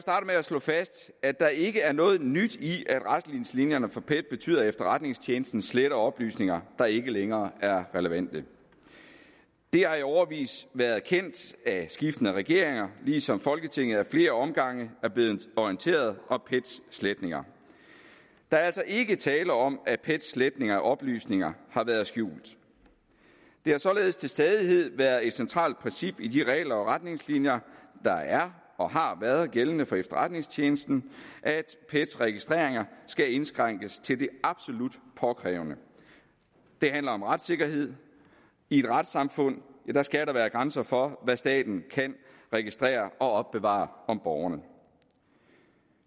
med at slå fast at der ikke er noget nyt i at retningslinjerne for pet betyder at efterretningstjenesten sletter oplysninger der ikke længere er relevante det har i årevis været kendt af skiftende regeringer ligesom folketinget ad flere omgange er blevet orienteret om pets sletninger der er altså ikke tale om at pets sletning af oplysninger har været skjult det har således til stadighed været et centralt princip i de regler og retningslinjer der er og har været gældende for efterretningstjenesten at dets registreringer skal indskrænkes til det absolut påkrævede det handler om retssikkerhed i et retssamfund skal der være grænser for hvad staten kan registrere og opbevare om borgerne